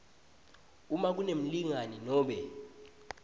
uma kunemlingani nobe